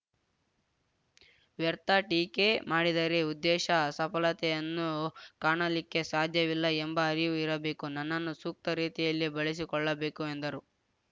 ವ್ಯರ್ಥ ಟೀಕೆ ಮಾಡಿದರೆ ಉದ್ದೇಶ ಸಫಲತೆಯನ್ನು ಕಾಣಲಿಕ್ಕೆ ಸಾಧ್ಯವಿಲ್ಲ ಎಂಬ ಅರಿವು ಇರಬೇಕು ನನ್ನನ್ನು ಸೂಕ್ತ ರೀತಿಯಲ್ಲಿ ಬಳಸಿಕೊಳ್ಳಬೇಕು ಎಂದರು